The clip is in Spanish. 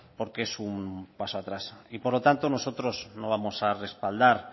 porque es un paso atrás y por lo tanto nosotros no vamos a respaldar